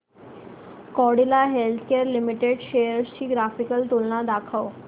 Cadila healthcare limited shares ची graphical तुलना दाखव